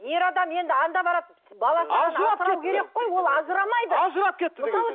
ер адам енді анда барады ажырап кетті ол ажырамайды ажырап кетті деген